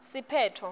siphetfo